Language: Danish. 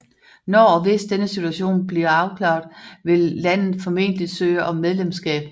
Når og hvis denne situation blive afklaret vil landet formentlig søge om medlemskab